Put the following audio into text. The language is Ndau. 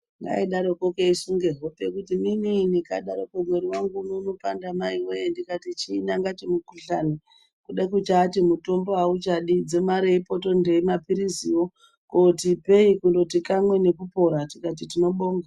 Kangaroo keisunge hope kutiminini kadaroko mwiri wangu uno unopanda maiwoye ndikati chini kakati mukuhlani kude kuchati mutombo auchadi dzimareipo tondei mapiriziwo koti ipei kamwe nekupora tikati tinobonga.